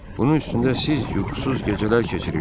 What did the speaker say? Bunun üstündə siz yuxusuz gecələr keçirirsiz.